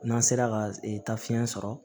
N'an sera ka taa fiɲɛ sɔrɔ